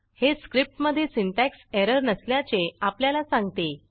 हे स्क्रिप्टमधे syntax error नसल्याचे आपल्याला सांगते